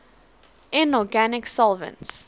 inorganic solvents